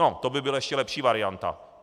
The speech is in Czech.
No, to by byla ještě lepší varianta.